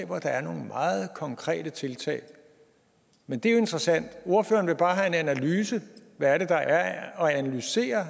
hvor der er nogle meget konkrete tiltag men det er jo interessant at ordføreren bare vil have en analyse hvad er det der er at analysere